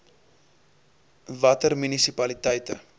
i watter munisipaliteite